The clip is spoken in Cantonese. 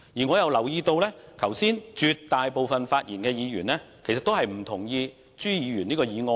我亦留意到剛才發言的議員，其實絕大部分也不贊同朱議員的議案。